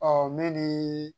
Ɔ ne ni